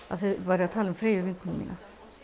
að þeir væru að tala um Freyju vinkonu mína